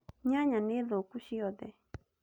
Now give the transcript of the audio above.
Nyanya nĩ thũku ciothe